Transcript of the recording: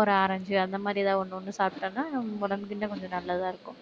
ஒரு orange அந்த மாதிரி ஏதாவது ஒண்ணொண்ணு சாப்பிட்டேன்னா, உடம்புக்கு இன்னும் கொஞ்சம் நல்லதா இருக்கும்.